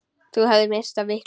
Þú hefðir misst af miklu!